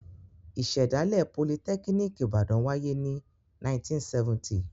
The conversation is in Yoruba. Ìṣẹ̀dálẹ̀ Politẹ́kíníkì Ìbàdàn wáyé ní 1970.